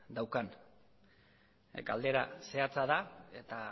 daukan galdera zehatza da eta